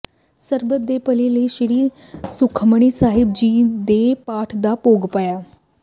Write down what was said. ਸਰਬੱਤ ਦੇ ਭਲੇ ਲਈ ਸ੍ਰੀ ਸੁਖਮਨੀ ਸਾਹਿਬ ਜੀ ਦੇ ਪਾਠ ਦਾ ਭੋਗ ਪਾਇਆ